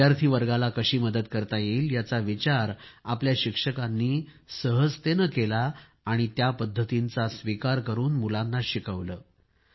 विद्यार्थी वर्गाला कशी मदत करता येईल याचा विचार आपल्या शिक्षकांनी सहजतेने केला आणि त्या पद्धतीचा स्वीकार करून मुलांना शिकवले